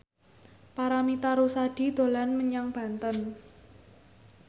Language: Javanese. Paramitha Rusady dolan menyang Banten